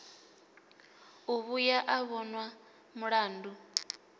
u vhuya a vhonwa mulandu